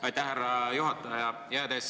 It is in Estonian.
Aitäh, härra juhataja!